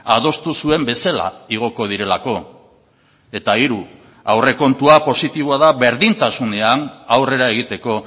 adostu zuen bezala igoko direlako eta hiru aurrekontua positiboa da berdintasunean aurrera egiteko